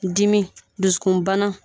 Dimi dusukunbana